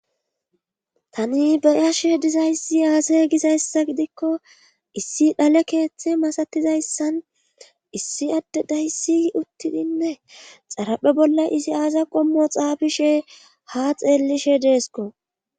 tani be'ashe dizayssi aasay gizayssa gidikko issi dhale keeththe masatizayssan issi adde dayssi uttidinne xaraphe bolla izi aaza qommo xaabishe ha xeellishe deesko